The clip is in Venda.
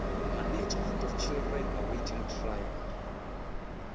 management of children awaiting trial